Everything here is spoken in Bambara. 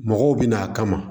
Mɔgɔw bɛ na a kama